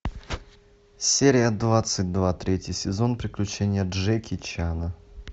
серия двадцать два третий сезон приключения джеки чана